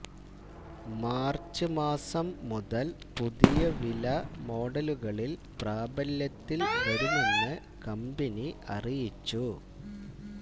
March മാസം മുതല് പുതിയ വില മോഡലുകളില് പ്രാബല്യത്തില് വരുമെന്ന് കമ്പനി അറിയിച്ചു